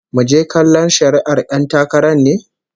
Muje kallon shari'ar 'yan takarar ne?